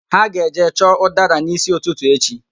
Ha ga-eje chọọ ụdara n'ísí ụtụtụ echi